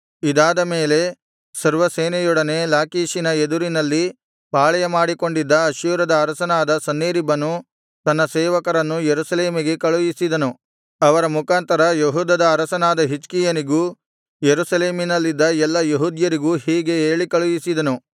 ಇದಾದ ಮೇಲೆ ಸರ್ವಸೇನೆಯೊಡನೆ ಲಾಕೀಷಿನ ಎದುರಿನಲ್ಲಿ ಪಾಳೆಯಮಾಡಿಕೊಂಡಿದ್ದ ಅಶ್ಶೂರದ ಅರಸನಾದ ಸನ್ಹೇರೀಬನು ತನ್ನ ಸೇವಕರನ್ನು ಯೆರೂಸಲೇಮಿಗೆ ಕಳುಹಿಸಿದನು ಅವರ ಮುಖಾಂತರ ಯೆಹೂದದ ಅರಸನಾದ ಹಿಜ್ಕೀಯನಿಗೂ ಯೆರೂಸಲೇಮಿನಲ್ಲಿದ್ದ ಎಲ್ಲಾ ಯೆಹೂದ್ಯರಿಗೂ ಹೀಗೆ ಹೇಳಿ ಕಳುಹಿಸಿದನು